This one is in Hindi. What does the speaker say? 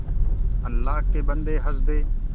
अल्लाह के बन्दे हंस दे